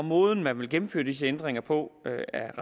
måden man vil gennemføre disse ændringer på